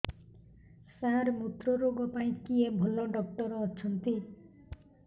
ସାର ମୁତ୍ରରୋଗ ପାଇଁ କିଏ ଭଲ ଡକ୍ଟର ଅଛନ୍ତି